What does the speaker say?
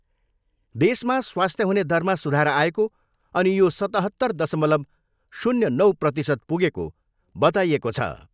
देशमा स्वास्थ्य हुने दरमा सुधार आएको अनि यो सतहत्तर दशमलव शून्य नौ प्रतिशत पुगेको बताइएको छ।